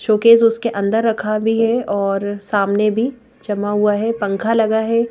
Showcase उसके अंदर रखा भी है और सामने भी जमा हुआ है पंख लगा है।